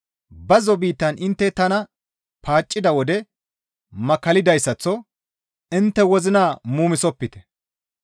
bazzo biittan intte tana paaccida wode makkallidayssaththo intte wozina muumisopite.